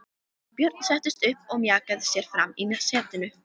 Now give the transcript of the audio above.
Björn settist upp og mjakaði sér fram í setinu.